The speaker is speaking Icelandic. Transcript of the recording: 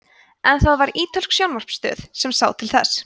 en það var ítölsk sjónvarpsstöð sem sá til þess